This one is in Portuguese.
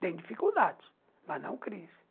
Tem dificuldades, mas não crise.